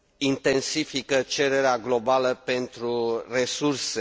intensifică cererea globală pentru resurse.